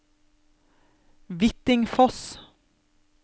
Hvittingfoss